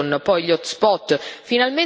in Europa qualcosa si sta muovendo.